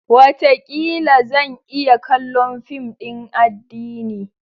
Wataƙila! Zan iya kallon fim din addini.